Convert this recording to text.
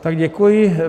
Tak děkuji.